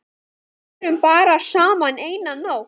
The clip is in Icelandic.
Vorum bara saman eina nótt.